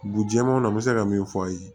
Dugu jɛɛmanw na n bɛ se ka min f'aw ye